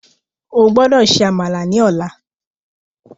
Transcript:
O gbódò ṣe Àmàlà ní ọlá